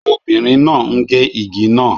Obìnrin náà ń gé igi náà